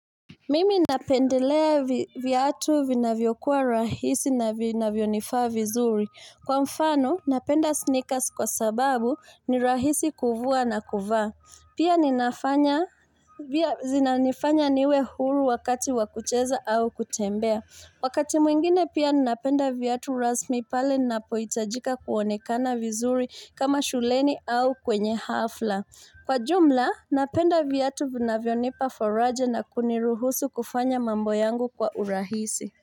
Mimi napendelea viatu vinavyokuwa rahisi na vinavyonifaa vizuri. Kwa mfano, napenda sneakers kwa sababu ni rahisi kuvua na kuvaa. Pia zinanifanya niwe huru wakati wa kucheza au kutembea. Wakati mwingine pia ninapenda viatu rasmi pale ninapohitajika kuonekana vizuri kama shuleni au kwenye hafla. Kwa jumla, napenda viatu vinavyonipa faraja na kuniruhusu kufanya mambo yangu kwa urahisi.